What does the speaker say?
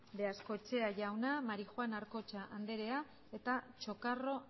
beaskoetxea jauna marijuán arcocha andrea eta chocarro